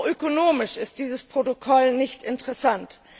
Auch ökonomisch ist dieses Protokoll nicht interessant.